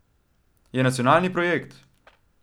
Je nacionalni projekt!